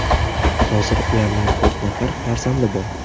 Hozir ularning to‘rt nafar farzandi bor.